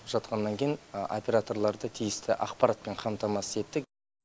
жатқаннан кейін операторларды тиісті ақпаратпен қамтамасыз еттік